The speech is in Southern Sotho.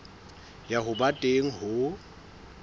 ya ho ba teng ho